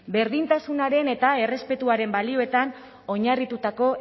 berdintasunaren eta errespetuaren balioetan oinarritutako